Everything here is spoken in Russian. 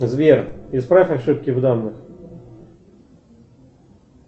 сбер исправь ошибки в данных